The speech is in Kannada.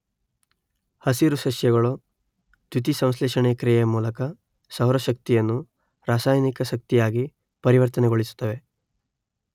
ಹಸಿರು ಸಸ್ಯಗಳು ದ್ಯುತಿ ಸಂಶ್ಲೇಷಣೆ ಕ್ರಿಯೆಯ ಮೂಲಕ ಸೌರ ಶಕ್ತಿಯನ್ನು ರಾಸಾಯನಿಕ ಶಕ್ತಿಯಾಗಿ ಪರಿವರ್ತನೆಗೊಳಿಸುತ್ತವೆ